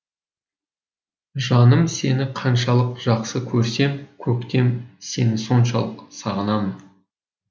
жаным сені қаншалық жақсы көрсем көктем сені соншалық сағынамын